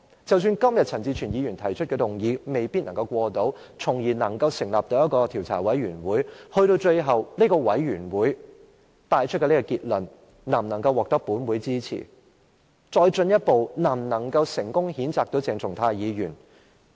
即使陳志全議員今天提出的議案未必獲得通過，本會因而可以成立一個調查委員會，但最後這個委員會所得的結論能否獲得本會支持，繼而能否成功譴責鄭松泰議員呢？